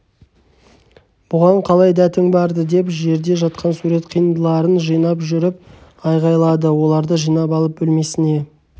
бұған қалай дәтің барды деп жерде жатқан сурет қиындыларын жинап жүріп айқайлады оларды жинап алып бөлмесіне